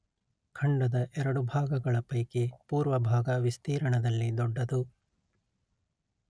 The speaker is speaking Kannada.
ಖಂಡದ ಎರಡು ಭಾಗಗಳ ಪೈಕಿ ಪೂರ್ವ ಭಾಗ ವಿಸ್ತೀರ್ಣದಲ್ಲಿ ದೊಡ್ಡದು